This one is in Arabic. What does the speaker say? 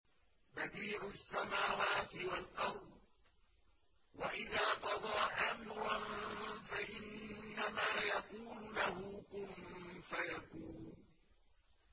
بَدِيعُ السَّمَاوَاتِ وَالْأَرْضِ ۖ وَإِذَا قَضَىٰ أَمْرًا فَإِنَّمَا يَقُولُ لَهُ كُن فَيَكُونُ